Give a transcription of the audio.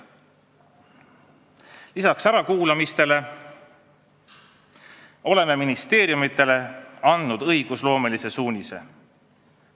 Lisaks ärakuulamistele oleme ministeeriumidele andnud õigusloomelise suunise.